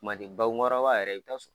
Bakunkɔrɔba yɛrɛ i bɛ taa